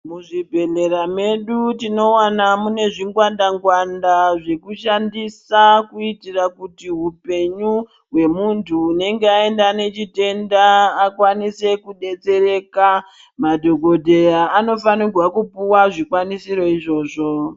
Muzvibhehlera medu tinowana mune zvingwanda ngwanda zvekushandisa kuitira kuti hupenyu hwemuntu unenge aenda nechitenda akwanise kubetsereka. Madhokodheya anofanirwa kupuwa zvikwanisiro izvozvo.